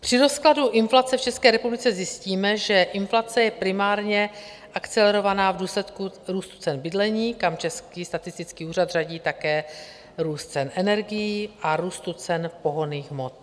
Při rozkladu inflace v České republice zjistíme, že inflace je primárně akcelerovaná v důsledku růstu cen bydlení, kam Český statistický ústav řadí také růst cen energií a růst cen pohonných hmot.